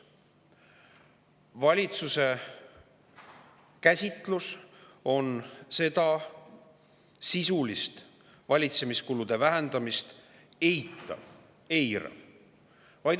Valitsuse käsitlus on seda sisulist valitsemiskulude vähendamist eitav, eirav.